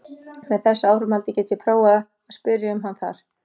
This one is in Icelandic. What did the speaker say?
Með þessu áframhaldi get ég prófað að spyrja um hann þar.